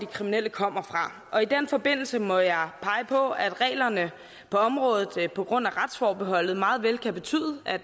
kriminelle kommer fra og i den forbindelse må jeg pege på at reglerne på området på grund af retsforbeholdet meget vel kan betyde at